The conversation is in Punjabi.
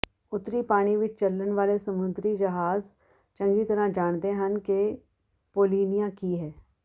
ਉੱਤਰੀ ਪਾਣੀ ਵਿਚ ਚੱਲਣ ਵਾਲੇ ਸਮੁੰਦਰੀ ਜਹਾਜ਼ ਚੰਗੀ ਤਰ੍ਹਾਂ ਜਾਣਦੇ ਹਨ ਕਿ ਪੋਲਿਨਿਆ ਕੀ ਹੈ